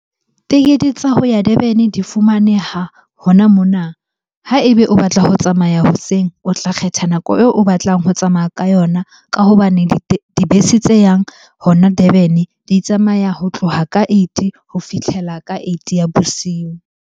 Tekete tsa ho ya Durban-e di fumaneha hona mona. Ha ebe o batla ho tsamaya hoseng, o tla kgetha nako eo o batlang ho tsamaya ka yona. Ka hobane dibese tse yang hona Durban-e di tsamaya ho tloha ka eight-e ho fihlela ka eight-e ya bosiu.